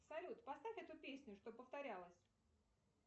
салют поставь эту песню что повторялась